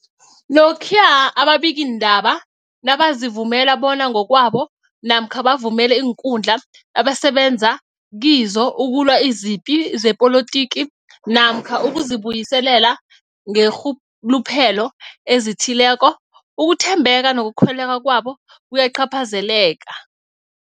Lokhuya ababikiindaba nabazivumela bona ngokwabo namkha bavumele iinkundla abasebenza kizo ukulwa izipi zepolitiki namkha ukuzi buyiselela ngeenrhuluphelo ezithileko, ukuthembeka nokukholweka kwabo kuyacaphazeleka.